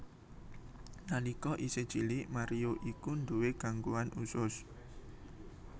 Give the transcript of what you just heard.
Nalika isih cilik Mario iku nduwé gangguan usus